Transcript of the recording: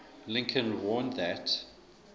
lincoln warned that